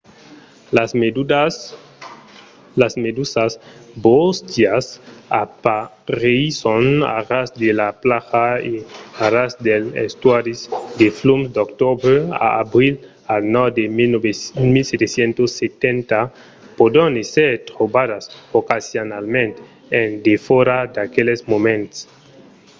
las medusas bóstias apareisson a ras de las plajas e a ras dels estuaris de flums d’octobre a abril al nòrd de 1770. pòdon èsser trobadas ocasionalament en defòra d'aqueles moments